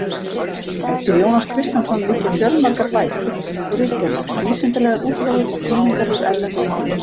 Eftir Jónas Kristjánsson liggja fjölmargar bækur og ritgerðir, vísindalegar útgáfur og þýðingar úr erlendum málum.